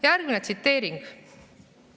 Järgmine tsiteering ...